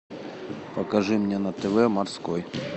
покажи мне на тв морской